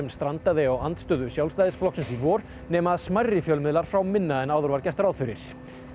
strandaði á andstöðu Sjálfstæðisflokksins í vor nema að smærri fjölmiðlar fá minna en áður var gert ráð fyrir